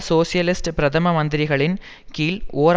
socialist பிரதம மந்திரிகளின் கீழ் ஓர்